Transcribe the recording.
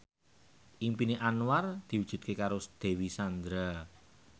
impine Anwar diwujudke karo Dewi Sandra